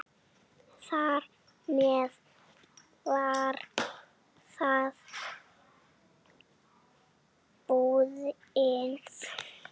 Þar með var það búið.